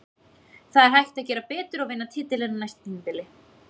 Það er hægt að gera betur og vinna titilinn á næsta tímabili.